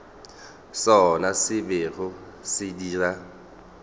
sona se bego se dira